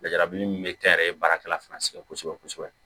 Lajabili min be kɛ n yɛrɛ ye baarakɛla fana sɛgɛn kosɛbɛ kosɛbɛ kosɛbɛ